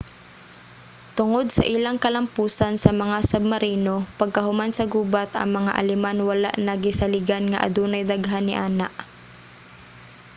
tungod sa ilang kalampusan sa mga submarino pagkahuman sa gubat ang mga aleman wala na gisaligan nga adunay daghan niana